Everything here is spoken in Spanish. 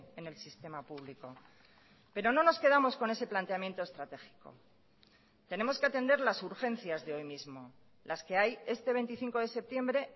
en el sistema público pero no nos quedamos con ese planteamiento estratégico tenemos que atender las urgencias de hoy mismo las que hay este veinticinco de septiembre